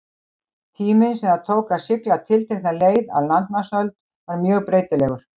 Tíminn sem það tók að sigla tiltekna leið á landnámsöld var mjög breytilegur.